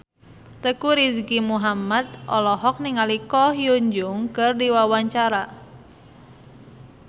Teuku Rizky Muhammad olohok ningali Ko Hyun Jung keur diwawancara